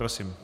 Prosím.